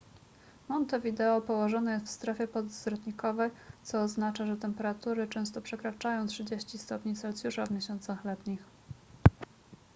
montevideo położone jest w strefie podzwrotnikowej co oznacza że temperatury często przekraczają +30°c w miesiącach letnich